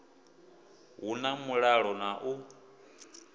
hu na mulalo na u